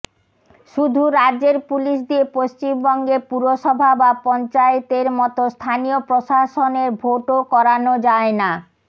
শুধু রাজ্যের পুলিশ দিয়ে পশ্চিমবঙ্গে পুরসভা বা পঞ্চায়েতের মতো স্থানীয় প্রশাসনের ভোটও করানো যায় না